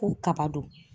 Ko kaba don